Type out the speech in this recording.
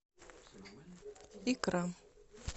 икра